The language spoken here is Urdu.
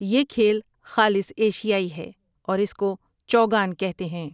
یہ کھیل خالص ایشیائی ہے اور اس کو چوگان کہتے ہیں ۔